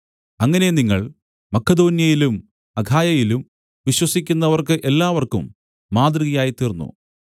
അങ്ങനെ നിങ്ങൾ മക്കെദോന്യയിലും അഖായയിലും വിശ്വസിക്കുന്നവർക്ക് എല്ലാവർക്കും മാതൃകയായിത്തീർന്നു